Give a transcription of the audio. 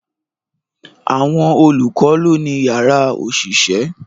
Àwọn olùkọ́ lọ́ ni yàrá òṣìṣẹ́